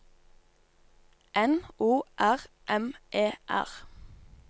N O R M E R